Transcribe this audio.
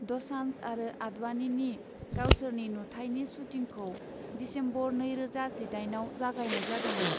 द'सान्ज आरो आडवाणीनि गावसोरनि नुथाइनि शूटिंखौ दिसेम्बर नैरोजा जिदाइनआव जागायनाय जादोंमोन।